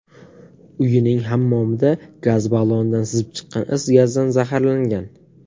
uyining hammomida gaz ballonidan sizib chiqqan is gazidan zaharlangan.